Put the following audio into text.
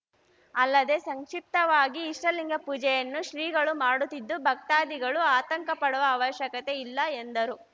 ಅಲ್ಲದೇ ಸಂಕ್ಷಿಪ್ತವಾಗಿ ಇಷ್ಟಲಿಂಗ ಪೂಜೆಯನ್ನು ಶ್ರೀಗಳು ಮಾಡುತ್ತಿದ್ದು ಭಕ್ತಾದಿಗಳು ಆತಂಕ ಪಡುವ ಅವಶ್ಯಕತೆ ಇಲ್ಲ ಎಂದರು